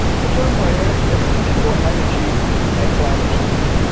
Third priority a secure energy and climate future.